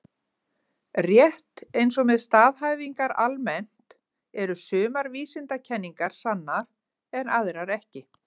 Rétt eins og með staðhæfingar almennt eru sumar vísindakenningar sannar en aðrar ekki.